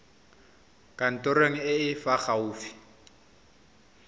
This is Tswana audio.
kantorong e e fa gaufi